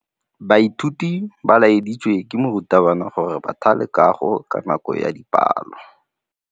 Baithuti ba laeditswe ke morutabana gore ba thale kagô ka nako ya dipalô.